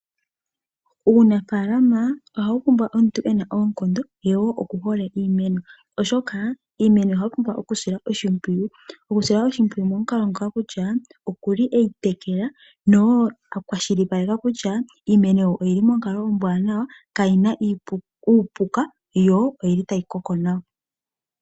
Uunafaalama ohawu pumbwa omuntu ena oonkondo ye wo oku hole iimeno oshoka iimeno ohayi pumbwa oku silwa oshimpwiyu. Oku sila oshimpwiyu mo mukalo ngoka kutya okuli eyi tekela no akwashili paleka kutya iimeno oyili monkalo ombwaanawa kayina uupuka, yo oyili tayi koko nawa.